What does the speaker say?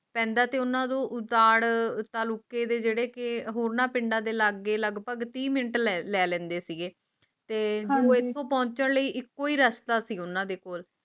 ਪੈਂਦਾ ਤੇ ਉਨ੍ਹਾਂ ਨੂੰ ਉਜਾੜਾ ਲੁਕੇ ਦੇ ਜਿਹੜੇ ਕਿ ਹੋਰਨਾਂ ਤੀਸ ਪਿੰਡਾਂ ਲੀ ਲੈਂਦੀ ਸੀ ਹੈ ਤੇ ਤੇ ਬੂਹੇ ਤੇ ਪਹੁੰਚਣ ਲਈ ਇੱਕੋ ਹੀ ਰਸਤਾ ਸੀ ਉਨ੍ਹਾਂ ਕੋਲ